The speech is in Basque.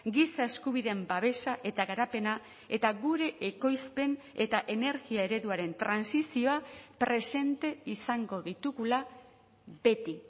giza eskubideen babesa eta garapena eta gure ekoizpen eta energia ereduaren trantsizioa presente izango ditugula beti